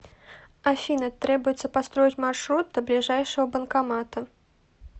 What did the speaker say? афина требуется построить маршрут до ближайшего банкомата